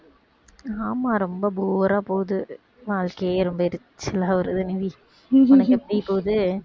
ஆமா ரொம்ப bore ஆ போகுது வாழ்க்கையே ரொம்ப எரிச்சலா வருது நிவி உனக்கு எப்படி போகுது